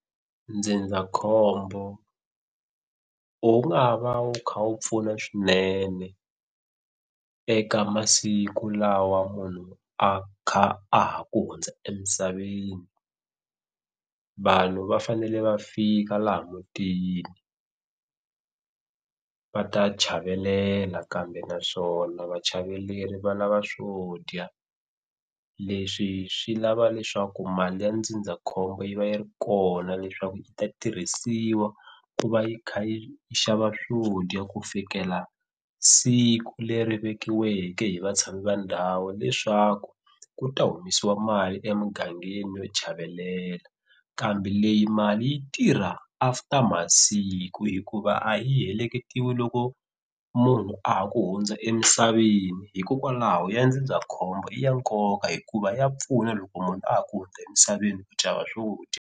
Ndzindzakhombo wu nga va wu kha wu pfuna swinene eka masiku lawa munhu a kha a ha ku hundza emisaveni. Vanhu va fanele va fika laha mutini va ta chavelela kambe naswona vachaveleri va lava swo dya. Leswi swi lava leswaku mali ya ndzindzakhombo yi va yi ri kona leswaku yi ta tirhisiwa ku va yi kha yi xava swo dya ku fikela siku leri vekiweke hi vatshami va ndhawu leswaku ku ta humesiwa mali emugangeni yo chavelela. Kambe leyi mali yi tirha after masiku hikuva a yi heleketiwi loko munhu a ha ku hundza emisaveni hikokwalaho ya ndzindzakhombo i ya nkoka hikuva ya pfuna loko munhu a ha ku hundza emisaveni ku xava swo dya.